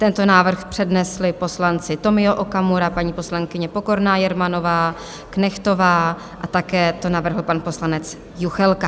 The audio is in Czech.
Tento návrh přednesli poslanci Tomio Okamura, paní poslankyně Pokorná Jermanová, Knechtová a také to navrhl pan poslanec Juchelka.